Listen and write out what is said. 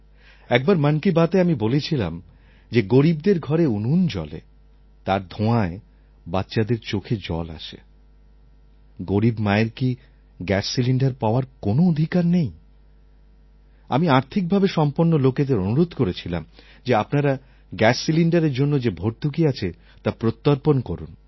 একবার মন কি বাতএ আমি বলেছিলাম যে গরীবদের ঘরে উনুন জ্বলে তার ধোঁয়ায় বাচ্চাদের চোখে জল আসে গরীব মায়ের কি গ্যাস সিলিণ্ডার পাওয়ার কোনও অধিকার নেই আমি আর্থিকভাবে সম্পন্ন লোকেদের অনুরোধ করেছিলাম যে আপনারা গ্যাস সিলিণ্ডারের জন্য যে ভর্তুকি আছে তা প্রত্যর্পণ করুন